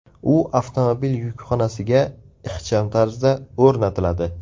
U avtomobil yukxonasiga ixcham tarzda o‘rnatiladi.